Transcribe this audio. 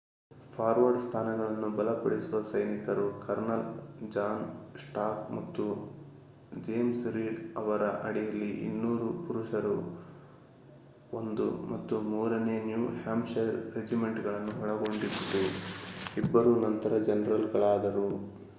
forward ಸ್ಥಾನಗಳನ್ನು ಬಲಪಡಿಸುವ ಸೈನಿಕರು ಕರ್ನಲ್ ಜಾನ್ ಸ್ಟಾರ್ಕ್ ಮತ್ತು ಜೇಮ್ಸ್ ರೀಡ್ ಅವರ ಅಡಿಯಲ್ಲಿ 200 ಪುರುಷರ 1 ಮತ್ತು 3ನೇ ನ್ಯೂ ಹ್ಯಾಂಪ್‌ಶೈರ್ ರೆಜಿಮೆಂಟ್‌ಗಳನ್ನು ಒಳಗೊಂಡಿತ್ತು ಇಬ್ಬರೂ ನಂತರ ಜನರಲ್‌ಗಳಾದರು